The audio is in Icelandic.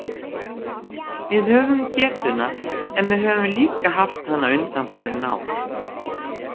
Við höfum getuna, en við höfum líka haft hana undanfarin ár.